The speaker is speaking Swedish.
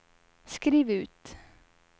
skriv ut